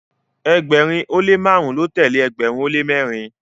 ẹgbẹrin o le marun ló telee ẹgbẹrin o le mẹrin